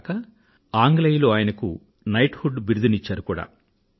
అంతే కాదు ఆంగ్లేయులు ఆయనకుKnighthood బిరుదును ఇచ్చారు కూడా